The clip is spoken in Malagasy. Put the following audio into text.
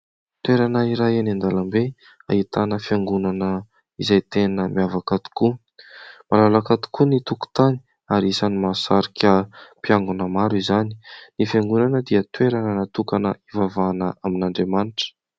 Toerana iray eny an-dalambe ahitana fiangonana izay tena miavaka tokoa. Malalaka tokoa ny tokotany ary isan'ny mahasarika mpiangona maro izany. Ny fiangonana dia toerana natokana hivavahana amin'Andriamanitra.